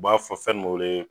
U b'a fɔ fɛn ni bɛ wele.